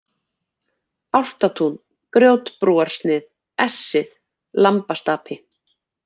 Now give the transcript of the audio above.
Álfatún, Grjótbrúarsnið, Essið, Lambastapi